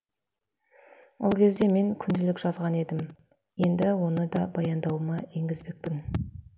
ол кезде мен күнделік жазған едім енді оны да баяндауыма енгізбекпін